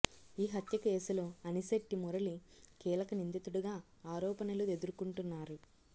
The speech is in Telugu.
ఈ హత్య కేసులో అనిశెట్టి మురళి కీలక నిందితుడిగా ఆరోపణలు ఎదుర్కొంటున్నారు